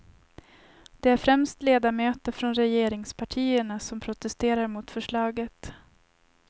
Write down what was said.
Det är främst ledamöter från regeringspartierna som protesterar mot förslaget.